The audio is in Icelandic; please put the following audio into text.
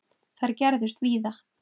Þær gerðust víða.